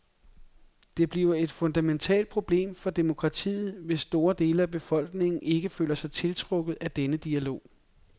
Det bliver et fundamentalt problem for demokratiet, hvis store dele af befolkningen ikke føler sig tiltrukket af denne dialog.